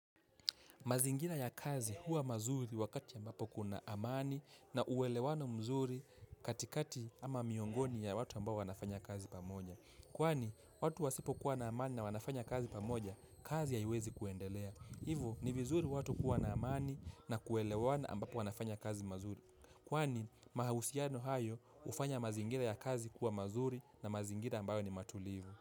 Mazingina ya kazi huwa mazuri wakati ambapo kuna amani na uwelewano mzuri katikati ama miongoni ya watu ambao wanafanya kazi pamoja. Kwani, watu wasipo kuwa na amani na wanafanya kazi pamoja, kazi haiwezi kuendelea. Hivo, ni vizuri watu kuwa na amani na kuelewana ambapo wanafanya kazi mazuri. Kwani, mahausiano hayo hufanya mazingira ya kazi kuwa mazuri na mazingira ambayo ni matulivu.